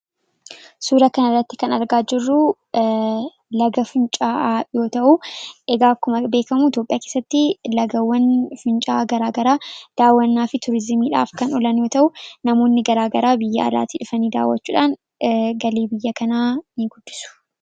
suura kanarratti kan argaa jirruu laga fincaa'aa yoo ta'u egaa akkuma beekamuu Itoophiyaa keessatti laggeewwan fincaa'aa garaa garaa daawwannaa fi tuurizimiidhaaf kan olan yoo ta'u namoonni garaa garaa biyya alaatii dhufanii daawwachuudhaan galii biyya kanaa in guddisu.